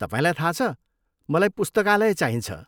तपाईँलाई थाहा छ, मलाई पुस्तकालय चाहिन्छ।